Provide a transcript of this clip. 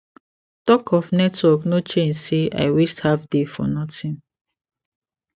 talk of network no change say i waste half day for nothing